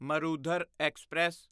Marudhar express